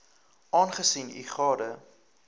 aangesien u gade